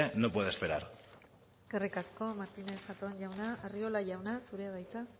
no puede esperar eskerrik asko martínez zatón jauna arriola jauna zurea da hitza